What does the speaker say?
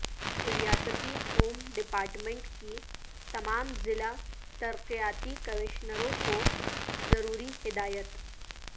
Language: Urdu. ریاستی ہوم ڈیپارٹمنٹ کی تمام ضلع ترقیاتی کمشنروں کو ضروری ہدایت